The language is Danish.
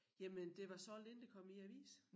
Jamen det var solgt inden det kom i æ avis